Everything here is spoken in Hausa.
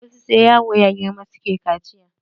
Wasu sai yaro ya girma suke kaciya.